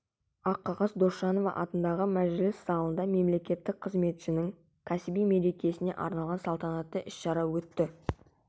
аққағаз досжанова атындағы мәжіліс залында мемлекеттік қызметшінің кәсіби мерекесіне арналған салтанатты іс-шара өтті